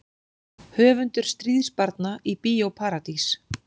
Höfundur Stríðsbarna í Bíó Paradís